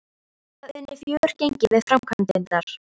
Það unnu fjögur gengi við framkvæmdirnar.